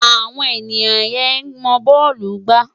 Awon enia ye mo bọọlu gba